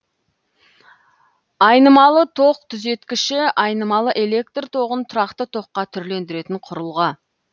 айнымалы ток түзеткіші айнымалы электр тоғын тұрақты токқа түрлендіретін құрылғы